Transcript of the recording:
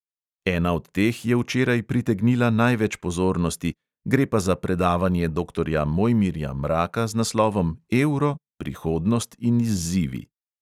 Ena od teh je včeraj pritegnila največ pozornosti, gre pa za predavanje doktorja mojmirja mraka z naslovom evro, prihodnost in izzivi.